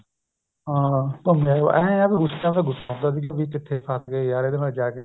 ਹਾਂ ਘੁੰਮ ਆਏ ਇਹ ਆ ਵੀ ਗੁੱਸਾ ਤਾਂ ਗੁੱਸਾ ਹੁੰਦਾ ਵੀ ਕਿੱਥੇ ਫਸ ਗਏ ਇਹਦੇ ਨਾਲ ਜਾ ਕੇ